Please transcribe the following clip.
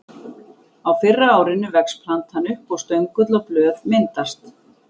Á fyrra árinu vex plantan upp og stöngull og blöð myndast.